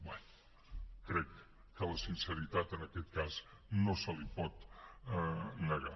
bé crec que la sinceritat en aquest cas no se li pot negar